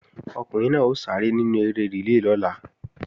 Ọmọkùnrin náà ó sáré nínú eré rìlé lọ́la